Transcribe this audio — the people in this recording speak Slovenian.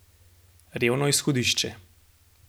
Revno izhodišče.